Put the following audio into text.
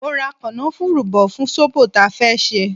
Mo ra kanafuru bò fún zobo ta fẹ́ ṣe.